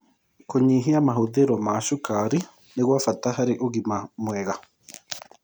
Kũnyĩhĩa mahũthĩro ma cũkarĩ nĩ gwa bata harĩ ũgima mwega